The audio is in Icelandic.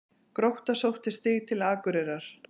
Grótta sótti stig til Akureyrar